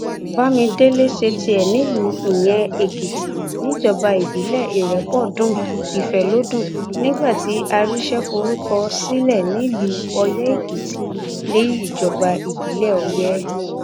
bámidélé ṣe tiẹ nílùú ìyẹn èkìtì níjọba ìbílẹ ìrépọdùn ifẹlọdún nígbà tí àrísẹ forúkọ sílẹ nílùú ọyẹ́ èkìtì níjọba ìbílẹ ọyẹ